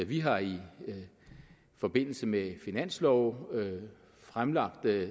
vi har i forbindelse med finanslove fremlagt